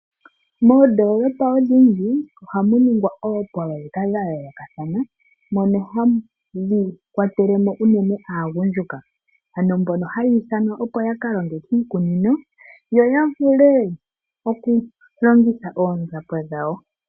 Moondolopa odhindji ohamu ningwa oopololeka dhayoolokathana mono hadhi kwatelemo uunene aagundjuka ano mbono haya ithanwa opo yakalonge kiikunino yo yavule okulongitha oonzapo dhawo.